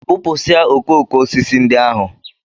Bụpụsịa okooko osisi ndị ahụ!